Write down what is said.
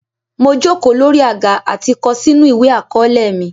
Mo jòkò lórí àgá àti kọ̀ sínù ìwé akọ̀ọ̀lẹ̀ mi.